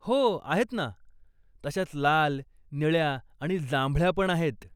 हो, आहेत ना, तशाच लाल, निळ्या आणि जांभळ्या पण आहेत.